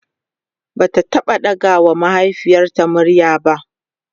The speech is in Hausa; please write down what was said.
Bata taɓa ɗaga wa mahaifiyarta murya ba